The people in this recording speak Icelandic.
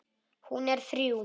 Hún er þrjú.